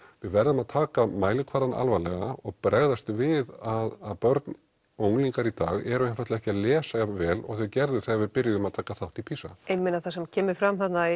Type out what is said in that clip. við verðum að taka mælikvarðann alvarlega og bregðast við að börn og unglingar í dag eru einfaldlega ekki að lesa jafn vel og þau gerðu þegar við byrjuðum að taka þátt í PISA ég meina það sem kemur fram þarna